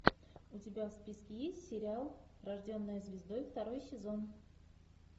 у тебя в списке есть сериал рожденная звездой второй сезон